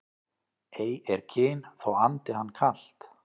Ei er kyn þó andi hann kalt